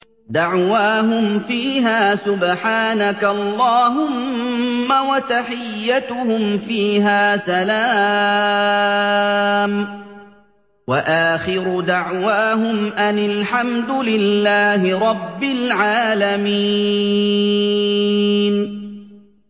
دَعْوَاهُمْ فِيهَا سُبْحَانَكَ اللَّهُمَّ وَتَحِيَّتُهُمْ فِيهَا سَلَامٌ ۚ وَآخِرُ دَعْوَاهُمْ أَنِ الْحَمْدُ لِلَّهِ رَبِّ الْعَالَمِينَ